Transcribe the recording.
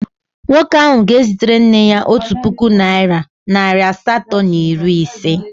Nwoke ahụ ga-ezitere nne ya otu puku naịra nari asatọ na iri ise.